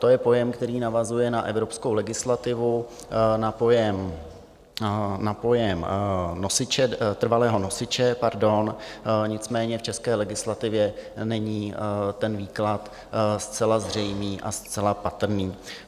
To je pojem, který navazuje na evropskou legislativu, na pojem trvalého nosiče, nicméně v české legislativě není ten výklad zcela zřejmý a zcela patrný.